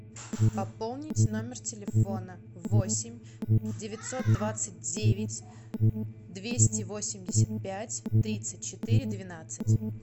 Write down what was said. пополнить номер телефона восемь девятьсот двадцать девять двести восемьдесят пять тридцать четыре двенадцать